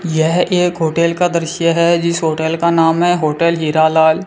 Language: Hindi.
यह एक होटल का दृश्य है जिस होटल का नाम है होटल हीरा लाल --